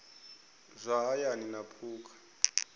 zwa hayani na phukha a